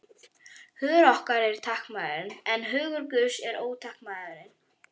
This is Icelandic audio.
Hugur okkar er takmarkaður, en hugur Guðs er ótakmarkaður.